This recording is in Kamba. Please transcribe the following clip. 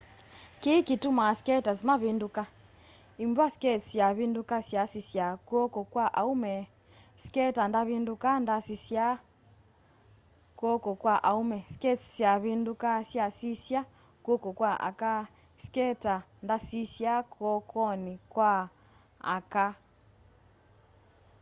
kĩĩ kĩtũmaa skaters mavĩndũka ĩmbw'a skates syavĩndũka syasisya kw'oko kwa aũme skater ndavĩndũka ndasisya kw'oko kwa aũme skates syavĩndũka syasisya kw'oko kwa aka skater ndasĩsya kw'okonĩ kwa aka